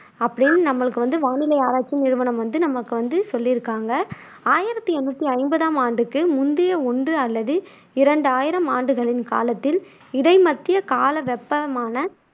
அப்படின்னு நம்மளுக்கு வந்து வானிலை ஆராய்ச்சி நிறுவனம் வந்து நமக்கு வந்து சொல்லியிருக்காங்க ஆயிரத்தி எண்ணூத்தி ஐம்பதாம் ஆண்டுக்கு முந்தைய ஒன்று அல்லது இரண்டு ஆயிரம் ஆண்டுகளின் காலத்தில், இடைமத்திய கால வெப்பமான